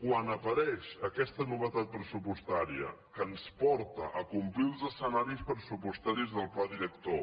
quan apa reix aquesta novetat pressupostària que ens porta a complir els escenaris pressupostaris del pla director